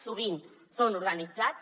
sovint són organitzats